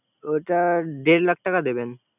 ওটা দেড় লাখ টাকা দেবেন